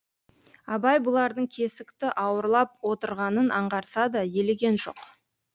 абай бұлардың кесікті ауырлап отырғанын аңғарса да елеген жоқ